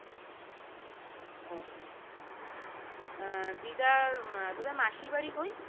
ও আহ দিদার উম তোদের মাসির বাড়ি কোই